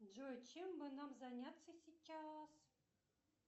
джой чем бы нам заняться сейчас